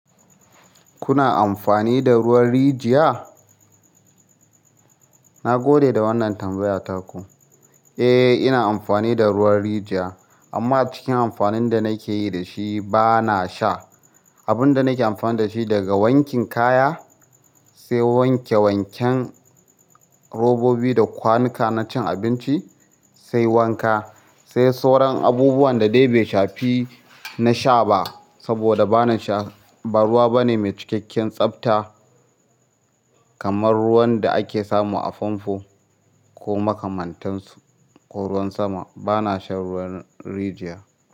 Kuna amfani da ruwan rijiya? Na gode da wannan tambaya taku. Eh, ina amfani da ruwan rijiya amma a cikin amfanin da nake yi da shi ba na sha. Abun da nake amfana da shi daga wankin kaya sai wanke wanken robobi da kwanuka na cin abinci sai wanka sai sauran abubuwan da dai bai shafi na sha ba saboda ba na sha, ba ruwa bane mai cikakken tsabta kamar ruwan da ake samu a famfo ko makamantansu ko ruwan sama. Ba na shan ruwan rijiya.